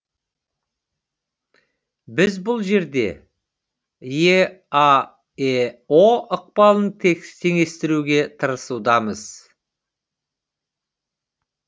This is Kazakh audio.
біз бұл жерде еаэо ықпалын теңестіруге тырысудамыз